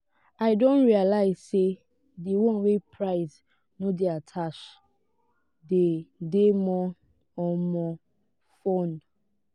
i don realize say di one wey price no de attached dey de more um fun